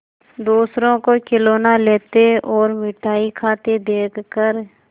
दूसरों को खिलौना लेते और मिठाई खाते देखकर